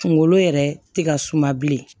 Kunkolo yɛrɛ tɛ ka suma bilen